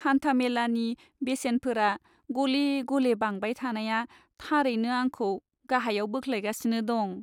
हानथामेलानि बेसेनफोरा गले गले बांबाय थानाया थारैनो आंखौ गाहायाव बोख्लायगासिनो दं।